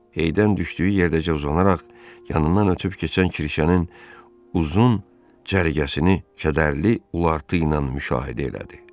Eydən düşdüyü yerdəcə uzanaraq yanından ötüb keçən Kirşənin uzun cərgəsini kədərli ulartı ilə müşahidə elədi.